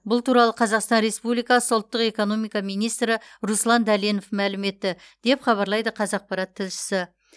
бұл туралы қазақстан республикасы ұлттық экономика министрі руслан дәленов мәлім етті деп хабарлайды қазақпарат тілшісі